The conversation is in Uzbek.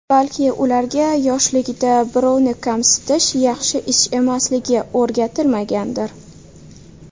Balki, ularga yoshligida birovni kamsitish yaxshi ish emasligi o‘rgatilmagandir.